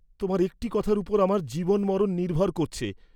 তোমার একটি কথার উপর আমার জীবন মরণ নির্ভর করছে।